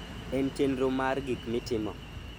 en chenro mar gik mitimo